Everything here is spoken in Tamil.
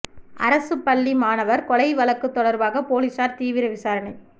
அரசுப் பள்ளி மாணவா் கொலை வழக்கு தொடா்பாக போலீஸாா் தீவிர விசாரணை